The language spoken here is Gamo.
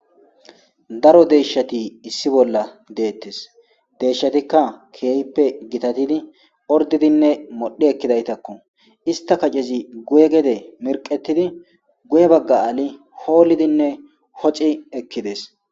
daro deeshati issi bolla deettes deeshshatikka keeyppe gitatidi ordidinne modhi ekkidaytakko ista kacezi guye gede mirqetidi guye bagga aali hoolidinne hoci ekkides